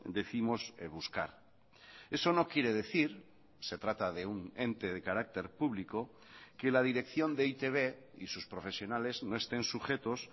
décimos buscar eso no quiere decir se trata de un ente de carácter público que la dirección de e i te be y sus profesionales no estén sujetos